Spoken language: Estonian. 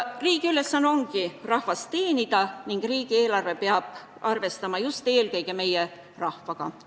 Riigi ülesanne on rahvast teenida ning riigieelarve peab arvestama just eelkõige meie rahvaga.